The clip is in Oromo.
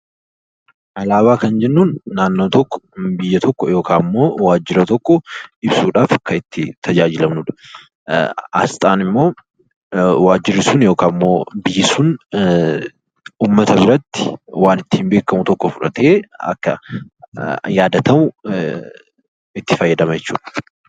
Alaabaa jechuun naannoo tokko, biyya tokko yookiin immoo waajjira tokko ibsuudhaaf kan itti tajaajilamnudha. Asxaan immoo waajjirri sun yookiin immoo biyyi sun uummata biratti waan ittiin beekamu tokko fudhatee, akka yaadatamu itti fayyadama jechuudha.